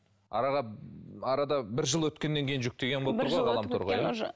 араға арада бір жыл өткеннен кейін жүктеген болып тұр